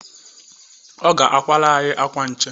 Ọ ga-akwara anyị akwa nche.